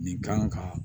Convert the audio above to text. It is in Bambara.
Nin kan ka